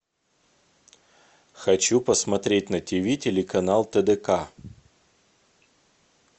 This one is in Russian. хочу посмотреть на тиви телеканал тдк